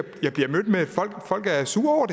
folk er sure